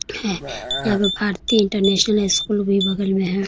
है यहाँ पे भारती इंटरनेशनल स्कूल भी बगल में है।